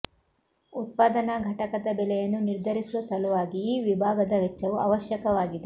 ಉತ್ಪಾದನಾ ಘಟಕದ ಬೆಲೆಯನ್ನು ನಿರ್ಧರಿಸುವ ಸಲುವಾಗಿ ಈ ವಿಭಾಗದ ವೆಚ್ಚವು ಅವಶ್ಯಕವಾಗಿದೆ